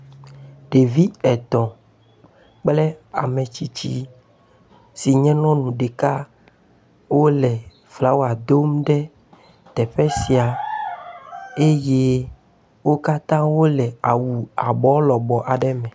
Ɖevi etɔ̃ kpl ame tsitsi si nye nyɔnu ɖeka wole flawa dom ɖe teƒe sia eye wo katã wole awu abɔ lɔbɔ aɖe me. Ɖevi etɔ̃ kple ame tsitsi si nye nyɔnu ɖeka wole flawa dom ɖe teƒe sia eye wo katã wole awu abɔ lɔbɔ aɖe me.